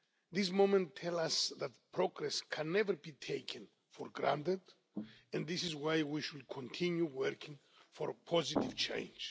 This moment tells us that progress can never be taken for granted, and this is why we should continue working for positive change.